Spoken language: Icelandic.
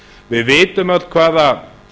við vitum öll hvaða